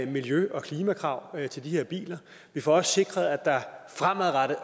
miljø og klimakrav til de her biler vi får også sikret at der fremadrettet